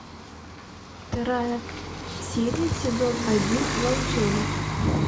вторая серия сезон один волчонок